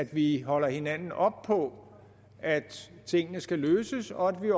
vi holde hinanden op på at tingene skal løses og at vi